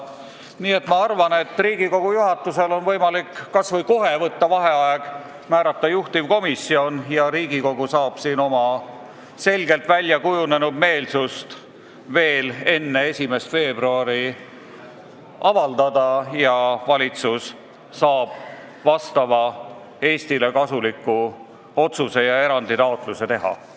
Nii et ma arvan, et Riigikogu juhatusel on võimalik kas või kohe võtta vaheaeg, määrata juhtivkomisjon ja Riigikogu saab oma selgelt väljakujunenud meelsust veel enne 1. veebruari avaldada ning valitsus saab Eestile kasuliku otsuse ja eranditaotluse teha.